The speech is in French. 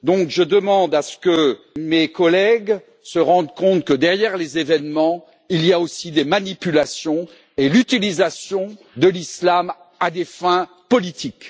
Je demande donc à ce que mes collègues se rendent compte que derrière les événements, il y a aussi des manipulations et l'utilisation de l'islam à des fins politiques.